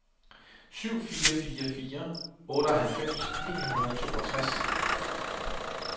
syv fire fire fire otteoghalvfems ni hundrede og toogtres